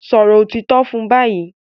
Sòrò òtítọ́ fún bayí!